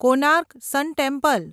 Konark sun temple